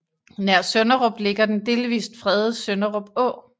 Nær Sønderup ligger den delvist fredede Sønderup Å